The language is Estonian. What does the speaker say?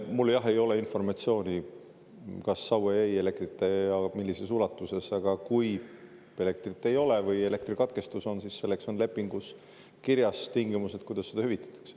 Mul, jah, ei ole informatsiooni, kas Saue jäi elektrita ja millises ulatuses, aga kui elektrit ei ole või elektrikatkestus on, siis selleks on lepingus kirjas tingimused, kuidas seda hüvitatakse.